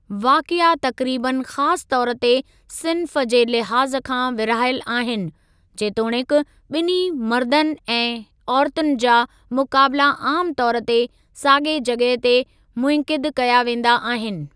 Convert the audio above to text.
वाक़िआ तक़रीबनि ख़ासि तौर ते सिन्फ़ जे लिहाज़ खां विरहायल आहिनि, जेतोणीकि ॿिन्ही मर्दनि ऐं औरतुनि जा मुक़ाबिला आमु तौर ते साॻिए जॻह ते मुनइक़िद कया वेंदा आहिनि।